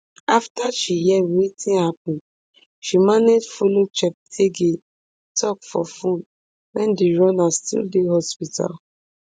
afta she hear wetin happun she manage follow cheptegei tok for phone wen di runner still dey hospital